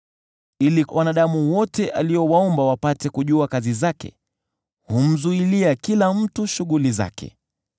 Ili wanadamu wote aliowaumba wapate kujua kazi zake, yeye humzuilia kila mtu shughuli zake.